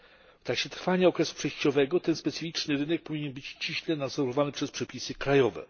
W trakcie trwania okresu przejściowego ten specyficzny rynek powinien być ściśle nadzorowany przez przepisy krajowe.